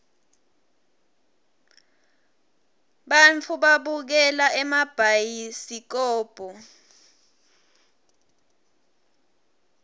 bantfu babukela emabhayisikobo